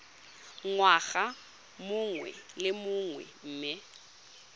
ngwaga mongwe le mongwe mme